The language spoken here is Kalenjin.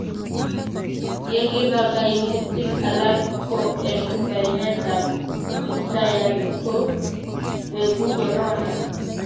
ye kiba kaimutik alak ko eng' kainet ab kiptayat ko beku corona